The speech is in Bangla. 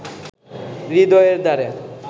হৃদয়ের দ্বারে